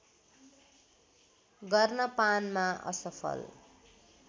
गर्न पानमा असफल